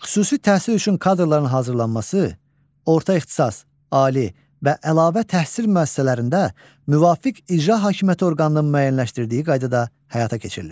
Xüsusi təhsil üçün kadrların hazırlanması orta ixtisas, ali və əlavə təhsil müəssisələrində müvafiq icra hakimiyyəti orqanının müəyyənləşdirdiyi qaydada həyata keçirilir.